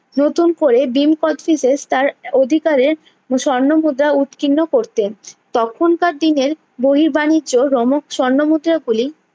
নতুন করে ভীম কোচটিসেস তার অধিকারের স্বর্ণ মুদ্রা উৎকীর্ণ করতেন তখন কার দিনের বহির বানিজ্য রোমক স্বর্ণ মুদ্রা গুলি